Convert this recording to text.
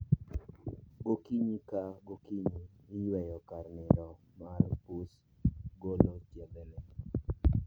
Gokinyi ka gokinyi, iyweyo kar nindo mar pus , golo chiethene